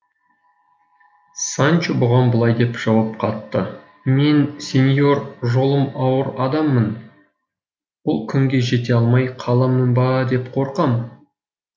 санчо бұған былай деп жауап қатты мен сеньор жолым ауыр адаммын бұл күнге жете алмай қаламын ба деп қорқам